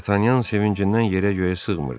D'Artagnan sevincindən yerə-göyə sığmırdı.